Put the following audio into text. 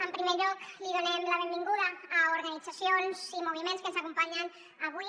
en primer lloc donem la benvinguda a organitzacions i moviments que ens acompanyen avui